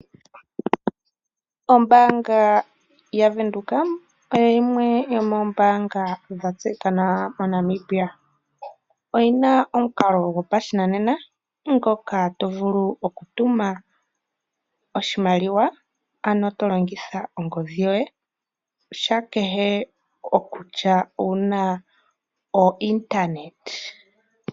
Ombaanga yaVenduka oyo yimwe yomoombaanga dha tseyika nawa moNamibia. Oyi na omukalo gopashinanena ngoka to vulu oku tuma oshimaliwa, ano to longitha ongodhi yoye sha kehe okutya owu na ointernet.